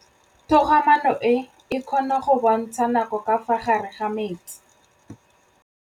Toga-maanô e, e kgona go bontsha nakô ka fa gare ga metsi.